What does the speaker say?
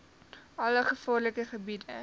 alle gevaarlike gebiede